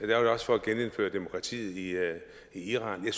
det også for at genindføre demokratiet i iran jeg